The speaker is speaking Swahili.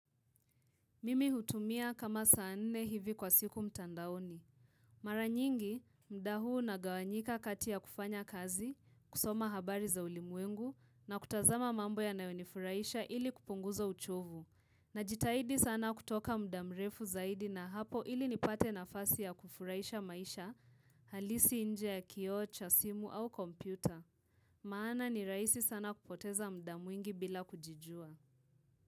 Mimi hutumia kama saa nne hivi kwa siku mtandaoni. Mara nyingi, muda huu unagawanyika kati ya kufanya kazi, kusoma habari za ulimwengu, na kutazama mambo ya nayonifuraisha ili kupunguza uchovu. Najitahidi sana kutoka muda mrefu zaidi na hapo ili nipate nafasi ya kufuraisha maisha halisi inje ya kioo cha, simu au kompyuta. Maana ni rahisi sana kupoteza muda mwingi bila kujijua.